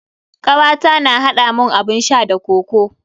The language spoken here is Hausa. Kawata ta haɗa mun abun sha da kokoo.